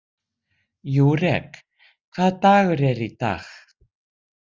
Júrek, hvaða dagur er í dag?